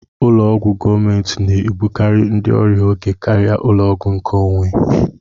Ụlọ ọgwụ gọọmenti na-egbukari ndị ọrịa oge karịa ụlọọgwụ nke onwé.